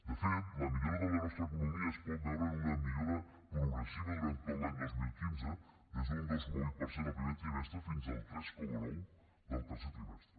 de fet la millora de la nostra economia es pot veure en una millora progressiva durant tot l’any dos mil quinze des d’un dos coma vuit per cent el primer trimestre fins al tres coma nou del tercer trimestre